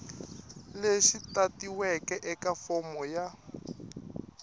lexi tatiweke eka fomo ya